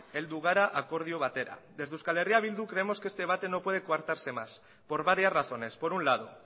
heldu gara akordio batera desde eh bildu creemos que este debate no debe coartarse más por varias razones por un lado